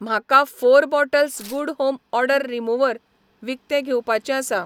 म्हाका four bottles good home odour remover विकतें घेवपाचें आसा